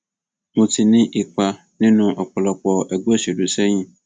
mo ti ní ipa nínú ọpọlọpọ ẹgbẹ òṣèlú sẹyìn